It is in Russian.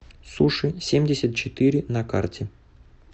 суши семьдесят четыре на карте